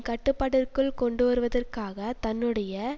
கட்டுப்பாட்டிற்குள் கொண்டுவருவதற்காக தன்னுடைய